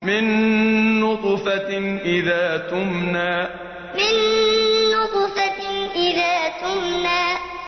مِن نُّطْفَةٍ إِذَا تُمْنَىٰ مِن نُّطْفَةٍ إِذَا تُمْنَىٰ